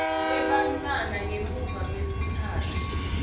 kwebantfwana ngemuva kwesikhatsi